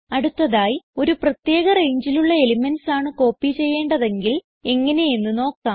അടുത്തതായി ഒരു പ്രത്യേക rangeലുള്ള എലിമെന്റ്സ് ആണ് കോപ്പി ചെയ്യെണ്ടതെങ്കിൽ എങ്ങനെ എന്ന് നോക്കാം